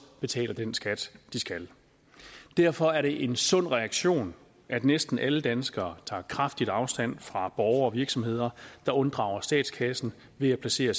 betaler den skat de skal derfor er det en sund reaktion at næsten alle danskere tager kraftigt afstand fra borgere og virksomheder der unddrager statskassen ved at placere